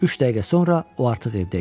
Üç dəqiqə sonra o artıq evdə idi.